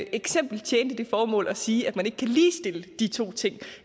eksempel tjente det formål at sige at man ikke kan ligestille de to ting